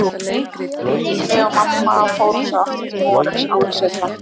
Ég, Júlli og mamma fórum svo aftur til Noregs, ári seinna.